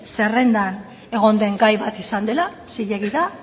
zerrendan egon den gai bat izan dela zilegi da